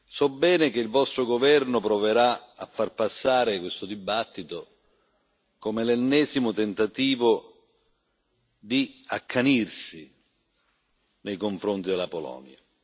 So bene che il vostro governo proverà a far passare questo dibattito come l'ennesimo tentativo di accanirsi nei confronti della Polonia.